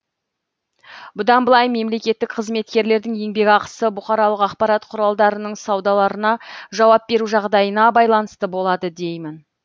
бұдан былай мемлекеттік қызметкерлердің еңбек ақысы бұқаралық ақпарат құралдарының саударларына жауап беру жағдайына байланысты болады деймін